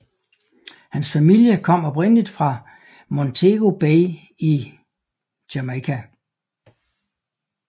Hans familie kom oprindeligt fra Montego Bay i Jamaica